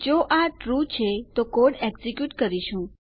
જો આ ટ્રૂ છે તો કોડ એક્ઝેક્યુટકરીશું